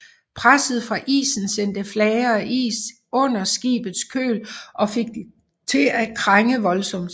Presset fra isen sendte flager af is under skibets køl og fik det til at krænge voldsomt